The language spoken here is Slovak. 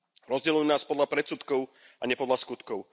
Rozdeľujú nás podľa predsudkov a nie podľa skutkov.